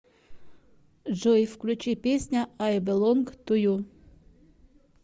джой включи песня ай белонг ту ю